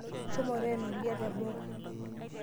Shomo teena oldia teboo.